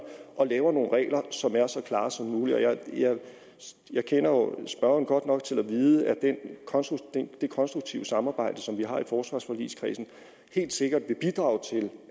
og lave nogle regler som er så klare som muligt jeg kender jo spørgeren godt nok til at vide at det konstruktive samarbejde som vi har i forsvarsforligskredsen helt sikkert vil bidrage til